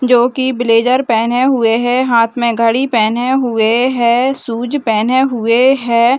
जोकि ब्लेजर पहने हुए है हाथ में घड़ी पहने हुए है शूज पहने हुए है।